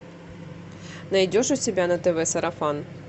найдешь у себя на тв сарафан